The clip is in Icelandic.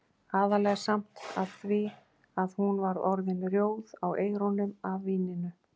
Aðallega samt af því að hún var orðin rjóð á eyrunum af víninu.